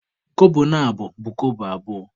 Kobo na abọ bụ Kobo abụọ